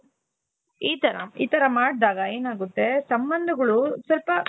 ಈತರ ಈತರ ಮಾಡಿದಾಗ ಏನಾಗುತ್ತೆ ಸಂಬಂಧಗಳು ಸ್ವಲ್ಪ